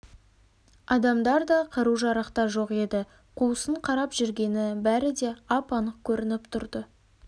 адамдар да қару-жарақ та жоқ еді қуысын қарап жүргені бәрі де ап-анық көрініп тұрды